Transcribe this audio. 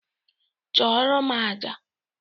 Chụọrọ m aja!